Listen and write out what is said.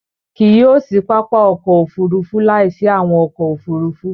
Kí yio sì pápá ọkọ̀ òfurufú láì sí awọn ọkọ̀ òfurufú